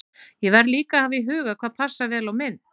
Ég verð líka að hafa í huga hvað passar vel á mynd.